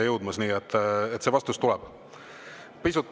See vastus tuleb.